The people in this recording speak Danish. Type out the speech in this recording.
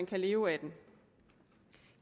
kan leve af den